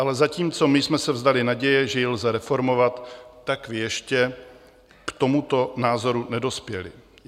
Ale zatímco my jsme se vzdali naděje, že ji lze reformovat, vy jste ještě k tomuto názoru nedospěli.